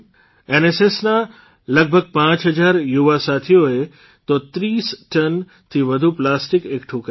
એનએસએસના લગભગ પાંચ હજાર યુવા સાથીઓએ તો ૩૦ ટનથી વધુ પ્લાસ્ટીક એકઠું કર્યું